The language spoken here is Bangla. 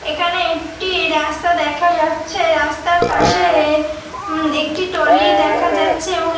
এখানে একটি রাস্তা দেখা যাচ্ছে। রাস্তার পাশে-এ উম একটি টলি দেখা যাচ্ছে। এবং এ --